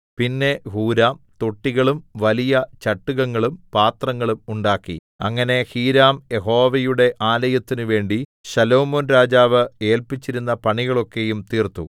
പിന്നെ ഹൂരാം തൊട്ടികളും വലിയ ചട്ടുകങ്ങളും പാത്രങ്ങളും ഉണ്ടാക്കി അങ്ങനെ ഹീരാം യഹോവയുടെ ആലയത്തിനുവേണ്ടി ശലോമോൻ രാജാവ് ഏല്പിച്ചിരുന്ന പണികളൊക്കെയും തീർത്തു